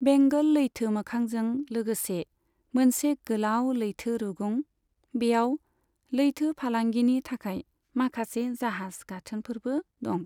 बेंगल लैथो मोखांजों लोगोसे मोनसे गोलाव लैथो रुगुं, बेयाव लैथो फालांगिनि थाखाय माखासे जाहाज गाथोनफोरबो दं।